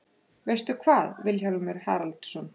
Veistu hvað, Vilhjálmur Haraldsson?